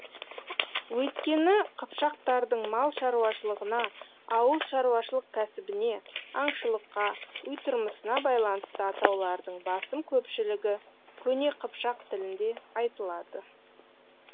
өйткені қыпшақтардың мал шаруашылығына ауыл шаруашылық кәсібіне аңшылыққа үй тұрмысына байланысты атаулардың басым көпшілігі көне қыпшақ тілінде айтылады